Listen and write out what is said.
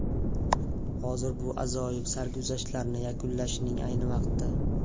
Hozir bu ajoyib sarguzashtlarni yakunlashning ayni vaqti.